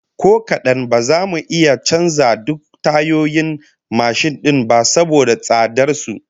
Ko kadan, ba za mu iya canza duk tayoyin mashin din ba saboda tsadar su